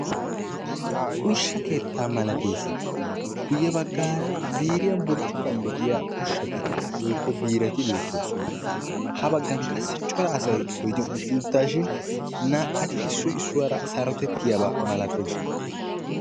Ushsha eettaa malttees. guya baggara ziiriyaa burccukuwaan tigetti uttida ushshati woykko biirati beettoosona. ha baggan qassi cora asay oydiyaa utti uttaashin naa"ati issoy issuwaara sarotettiyaaba malatoosona.